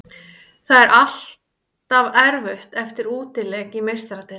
Það er alltaf erfitt eftir útileik í Meistaradeildinni.